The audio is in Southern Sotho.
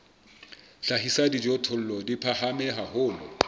hlahisa dijothollo di phahame haholo